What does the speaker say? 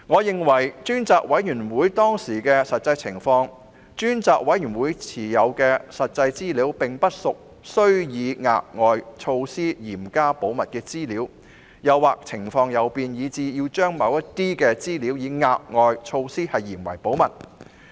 根據當時的實際情況，我認為專責委員會持有的實際資料並不屬於須以額外措施嚴加保密的資料，當時情況亦未有任何變化，以致必須將某些資料以額外措施嚴加保密。